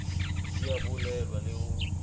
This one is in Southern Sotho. di a bulelwa le ho